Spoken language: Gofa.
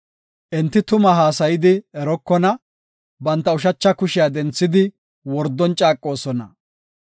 Enti tuma haasayidi erokona; banta ushacha kushiya denthidi wordon caaqoosona.